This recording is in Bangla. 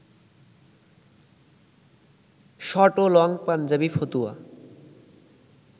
শর্ট ও লং পাঞ্জাবি, ফতুয়া